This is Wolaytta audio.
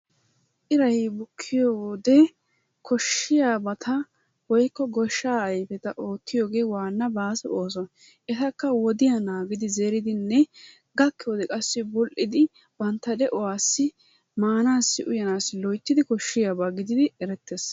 iray bukkiyoo wode kooshiyaabata woykko gooshshaa ayfeta ottiyoogee waanna baaso ooso. Eta woodiyaa naagidi zeeridinne gakkiyoode qassi bul"idi bantta de'uwaassi maanasi uyaanassi loyttidi kooshshiyaabaa giididi erettees.